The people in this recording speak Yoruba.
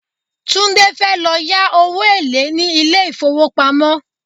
Tunde fẹ́ lọ yá owó èlé ní ilé ìfowópamọ́.